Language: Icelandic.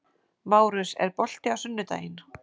Márus, er bolti á sunnudaginn?